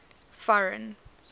foreign